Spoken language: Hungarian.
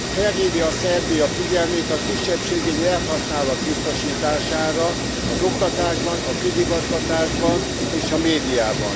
Felhívja Szerbia figyelmét a kisebbségi nyelvhasználat biztosítására az oktatásban, a közigazgatásban, és a médiában.